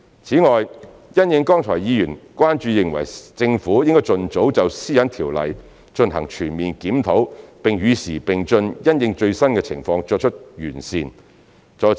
此外，因應剛才議員的關注，認為政府應該盡早就《個人資料條例》進行全面檢討，並與時並進，因應最新的情況作出完善。